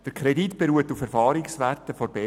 Der Kredit beruht auf Erfahrungswerten der BVE.